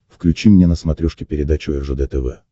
включи мне на смотрешке передачу ржд тв